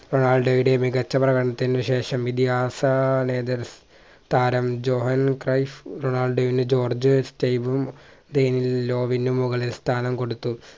റൊണാൾഡോയുടെ മികച്ച പ്രകടനത്തിന് ശേഷം ഇതിഹാസ ലെ തർ താരം ജൊഹാൻ ക്രൈസ് റൊണാൾഡോയിന് ജോർജ് സ്റ്റൈബും ഡെലോവിനു മുകളിൽ സ്ഥാനം കൊടുത്തു